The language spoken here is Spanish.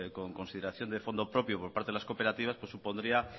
con consideración de fondo propio por parte de las cooperativas supondría